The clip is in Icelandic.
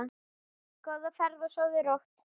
Góða ferð og sofðu rótt.